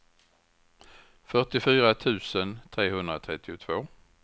fyrtiofyra tusen trehundratrettiotvå